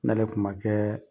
N'ale kuma kɛ